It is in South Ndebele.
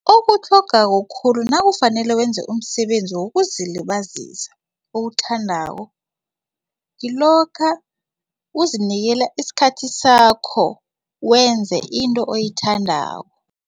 Okutlhogako khulu nakufanele wenze umsebenzi wokuzilibazisa owuthandako kilokha uzinikela isikhathi sakho wenze into oyithandako.